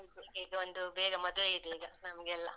ಈಗ ಒಂದು ಬೇಗ ಮದ್ವೆ ಇದೇ ಈಗ ನಮ್ಗೆಲ್ಲಾ.